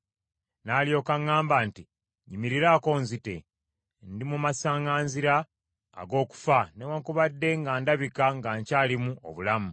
“N’alyoka aŋŋamba nti, ‘Nnyimirirako onzite! Ndi mu masaŋŋanzira ag’okufa newaakubadde nga ndabika ng’akyalimu obulamu.’